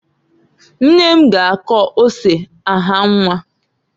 Nne m g' akọ ose ahanwa.